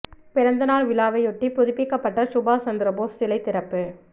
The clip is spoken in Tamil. பிறந்த நாள் விழாவையொட்டி புதுப்பிக்கப்பட்ட சுபாஷ் சந்திர போஸ் சிலை திறப்பு